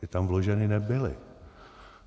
Ty tam vloženy nebyly.